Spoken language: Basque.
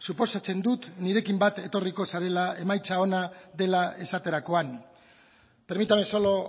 suposatzen dut nirekin bat etorriko zarela emaitza ona dela esaterakoan permítame solo